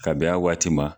Kab'a waati ma